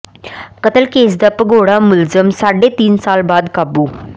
ਕਤਲ ਕੇਸ ਦਾ ਭਗੌੜਾ ਮੁਲਜ਼ਮ ਸਾਢੇ ਤਿੰਨ ਸਾਲ ਬਾਅਦ ਕਾਬੂ